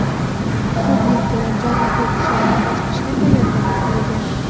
Zudlik bilan jarrohlik ishlarini boshlashga tayyorgarlik ko‘rilgan.